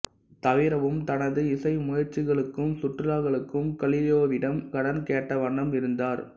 தவிரவும் தனது இசை முயற்சிகளுக்கும் சுற்றுலாக்களுக்கும் கலீலியோவிடம் கடன் கேட்டவண்ணம் இருந்தார்